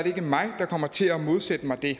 ikke mig der kommer til at modsætte mig det er